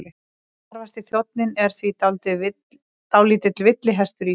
Þarfasti þjónninn er því dálítill villihestur í sér.